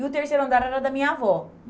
E o terceiro andar era da minha avó.